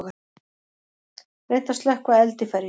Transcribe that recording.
Reynt að slökkva eld í ferju